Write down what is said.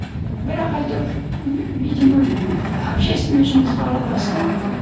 бірақ әйтеуір видимо общественный жұмысқа араластым